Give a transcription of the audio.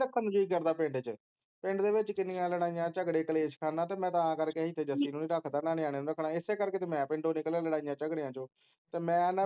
ਇਥੇ ਨੀ ਰੱਖਣ ਦਾ ਜੀ ਕਰਦਾ ਪਿੰਡ ਵਿਚ ਪਿੰਡ ਦੇ ਵਿਚ ਕਿੰਨੀਆਂ ਲੜਾਈਆਂ ਝਗੜੇ ਕਲੇਸ਼ ਖਾਨਾ ਤੇ ਮੈਂ ਤਾਂ ਕਰਕੇ ਇਥੇ ਜੱਸੀ ਨੂੰ ਨੀ ਰੱਖਦੇ ਨਾ ਨਿਆਣਿਆ ਨੂੰ ਰੱਖਣਾ ਇਸੇ ਕਰਕੇ ਤਾਂ ਮੈਂ ਪਿੰਡੋ ਨਿਕਲਿਆ ਲੜਾਈਆਂ ਝਗੜਿਆਂ ਚੋ ਤੇ ਮੈਂ ਨਾ